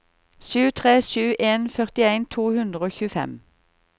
sju tre sju en førtien to hundre og tjuefem